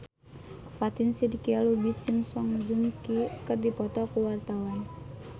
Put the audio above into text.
Fatin Shidqia Lubis jeung Song Joong Ki keur dipoto ku wartawan